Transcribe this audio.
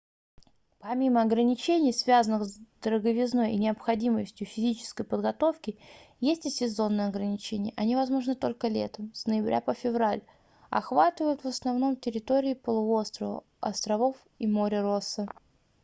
помимо ограничений связанных с дороговизной и необходимостью физической подготовки есть и сезонные ограничения они возможны только летом с ноября по февраль охватывают в основном территории полуострова островов и море росса